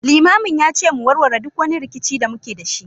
Limamin ya ce mu warware duk wani rikici da muke da shi